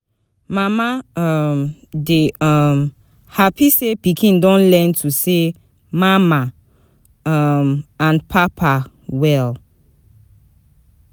Mama um dey um happy say pikin don learn to say "mama" um and "papa" well.